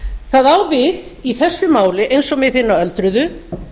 það á við í þessu máli eins og með hina öldruðu